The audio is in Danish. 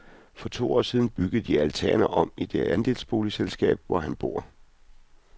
For to år siden byggede de altanerne om i det andelsboligselskab, hvor han bor.